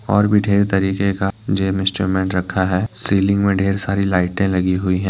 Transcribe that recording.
और भी ढेर तरीके का जिम इंस्ट्रूमेंट रखा है सीलिंग में ढेर सारी लाइटें लगी हुई हैं।